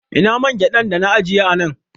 Ina man gyaɗan dana ajiye a nan